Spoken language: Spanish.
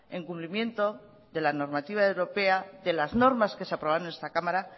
en cumplimiento de la normativa europea de las normas que se aprobaron en esta cámara